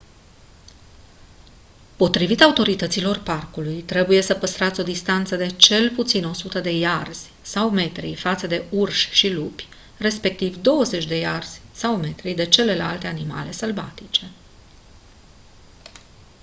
potrivit autorităților parcului trebuie să păstrați o distanță de cel puțin 100 de iarzi/metri față de urși și lupi respectiv 25 de iarzi/metri de celelalte animale sălbatice!